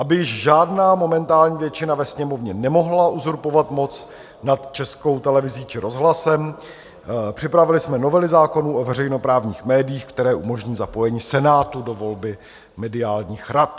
Aby žádná momentální většina ve Sněmovně nemohla uzurpovat moc nad Českou televizí či rozhlasem, připravili jsme novely zákonů o veřejnoprávních médiích, které umožní zapojení Senátu do volby mediálních rad.